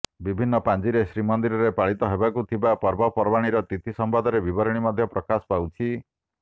ବିଭିନ୍ନ ପାଞ୍ଜିରେ ଶ୍ରୀମନ୍ଦିରରେ ପାଳିତ ହେବାକୁ ଥିବା ପର୍ବପର୍ବାଣୀର ତିଥି ସମ୍ବନ୍ଧରେ ବିବରଣୀ ମଧ୍ୟ ପ୍ରକାଶ ପାଉଛି